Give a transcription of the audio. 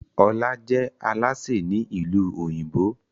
Ola je Alásè Ni ilu òyìnbó.